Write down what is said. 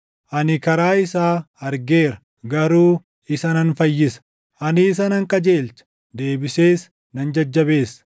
Ani karaa isaa argeera; garuu isa nan fayyisa; ani isa nan qajeelcha; deebisees nan jajjabeessa;